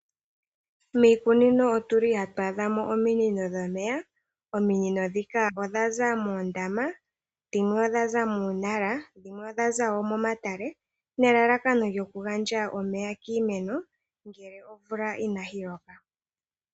Miikunino otuli hatu adha mo ominono dhomeya. Ominono dhika odha za moondama, dhimwe odha za muunala, dhimwe odha za woo momatale, nelalakano lyokugandja omeya kiimeno ngele omvula inayi loka.